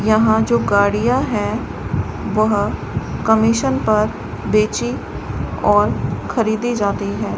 यहां जो गाड़ियां हैं वह कमीशन पर बेची और खरीदी जाती है।